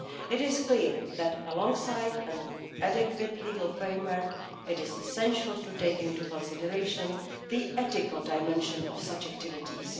It is clear that alongside an adequate legal framework it is essential to take into consideration the ethical dimension of such activities.